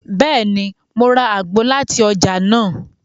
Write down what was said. Bẹẹni, Mo rà àgbo láti ọjà nàá